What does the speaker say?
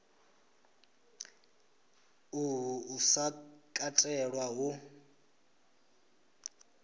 uhu u sa katelwa hu